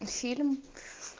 и фильм